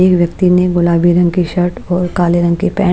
एक व्यक्ति ने गुलाबी रंग की शर्ट और काले रंग की पैं --